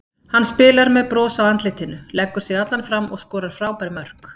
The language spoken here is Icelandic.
Hann spilar með bros á andlitinu, leggur sig allan fram og skorar frábær mörk.